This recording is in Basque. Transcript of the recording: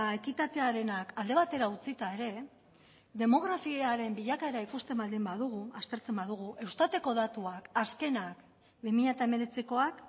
ekitatearenak alde batera utzita ere demografiaren bilakaera ikusten baldin badugu aztertzen badugu eustateko datuak azkenak bi mila hemeretzikoak